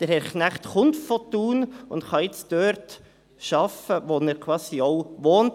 Herr Knecht kommt aus Thun und kann jetzt dort arbeiten, wo er auch wohnt.